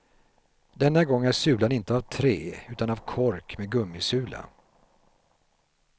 Denna gång är sulan inte av trä utan av kork med gummisula.